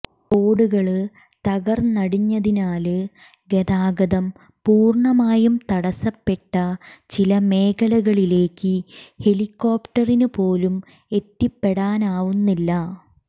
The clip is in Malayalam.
റോാഡുകള് തകര്ന്നടിഞ്ഞതിനാല് ഗതാഗതം പൂര്ണമായും തടസ്സപ്പെട്ട ചില മേഖലകളിലേക്ക് ഹെലികോപ്ടറിനു പോലും എത്തിപ്പെടാനാവുന്നില്ല